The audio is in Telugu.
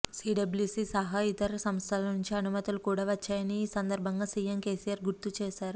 సిడబ్ల్యుసి సహా ఇతర సంస్థల నుంచి అనుమతులు కూడా వచ్చాయని ఈ సందర్భంగా సిఎం కెసిఆర్ గుర్తు చేశారు